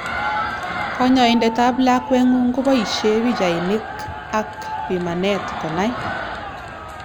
Kanyoindet ab lakwengungun koboishe pichainik ak pimanet konai.